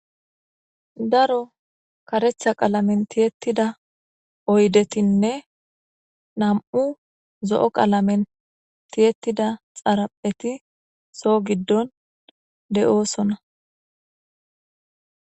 Daro karetha qalamen tiyettida oydetinne nam7u zo7o qalamen tiyettida xarapheti so giddon de7oosona.